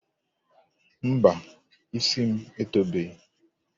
Mba, isi m etobeghi.